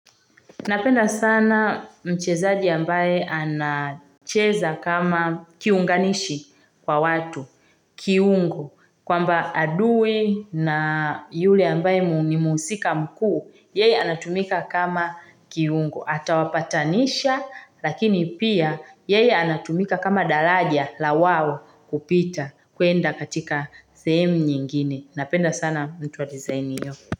Napenda sana mchezaji ambaye anacheza kama kiunganishi kwa watu, kiungo, kwamba adui na yule ambaye ni mhusika mkuu, yeye anatumika kama kiungo, ata wapatanisha lakini pia yeye anatumika kama daraja la wao kupita kuenda katika sehemu nyingine. Napenda sana mtu wa design hiyo.